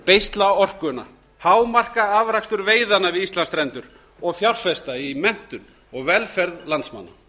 beisla orkuna hámarka afrakstur veiðanna við íslandsstrendur og fjárfesta í kennt og velferð landsmanna